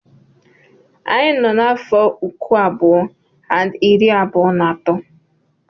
Anyị nọ n'afọ uku abụọ and iri abụọ na atọ.